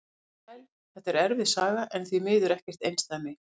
Blessuð og sæl, þetta er erfið saga en því miður ekkert einsdæmi.